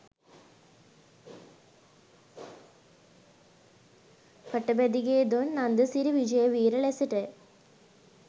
Patabendige Don Nandasiri Wijeweera ලෙසටය.